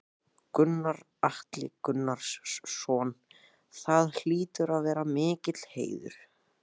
Gunnar Atli Gunnarsson: Það hlýtur að vera mikill heiður?